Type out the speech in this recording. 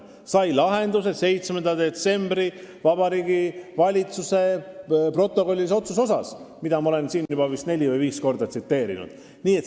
See sai lahenduse 7. detsembri Vabariigi Valitsuse protokollilise otsusega, mida ma olen siin vist juba neli või viis korda tsiteerinud.